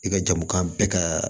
I ka jamu kan bɛɛ ka